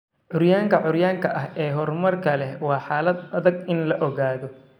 Curyaanka curyaanka ah ee horumarka leh waa xaalad adag in la ogaado.